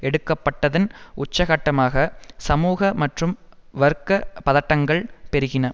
எடுக்கப்பட்டதன் உச்சகட்டமாக சமூக மற்றும் வர்க்க பதட்டங்கள் பெருகின